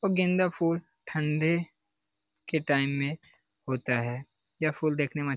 गेंदा फूल ठन्डे के टाइम में होता हे ये फूल देखने में --